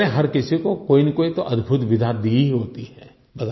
ईश्वर ने हर किसी को कोईनाकोई तो अद्भुत विधा दी ही होती है